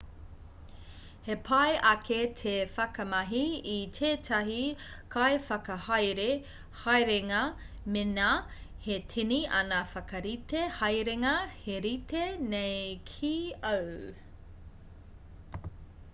he pai ake te whakamahi i tētahi kaiwhakahaere haerenga mēnā he tini ana whakarite haerenga he rite nei ki āu